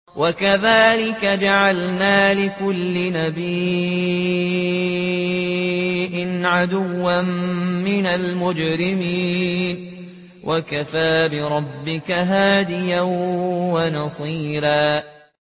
وَكَذَٰلِكَ جَعَلْنَا لِكُلِّ نَبِيٍّ عَدُوًّا مِّنَ الْمُجْرِمِينَ ۗ وَكَفَىٰ بِرَبِّكَ هَادِيًا وَنَصِيرًا